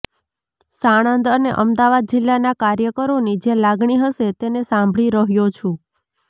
સાણંદ અને અમદાવાદ જિલ્લાના કાર્યકરોની જે લાગણી હશે તેને સાંભળી રહ્યો છું